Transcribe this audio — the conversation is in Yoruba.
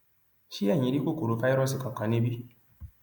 ṣé eyín rí kòkòrò fáírọọsì kankan níbí